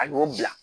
A y'o bila